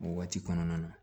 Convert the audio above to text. O waati kɔnɔna na